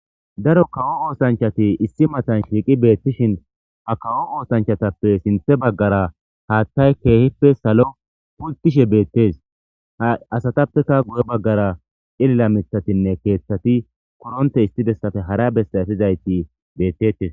Daro kawo oosanchati issi matan shiiqi beettishin a kawo oosanchatappe sinthe baggara haaththay keehippe salo pultishe beettes ha asatappeka guye baggara ilila mithatinne keeththati koronte istidessafe hara bessaefizayti beettete